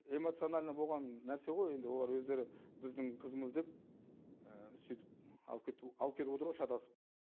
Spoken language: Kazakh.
эмоциональный болған нәрсе ғой енді олар өздері біздің қызымыз деп сөйтіп алып кетіп отыр ғой шатасып